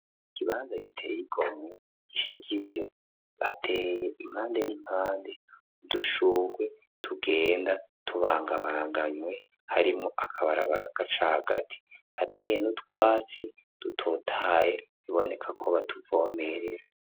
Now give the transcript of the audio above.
Ikibanza giteye igomwe gishajije, hateye impande n'impande udushurwe tugenda tubangabanganywe harimwo akabarabara gaca hagati, harateye n'utwatsi dutotaye biboneka ko batuvomerera.